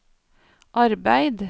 arbeid